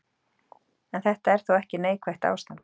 En þetta er þó ekki neikvætt ástand.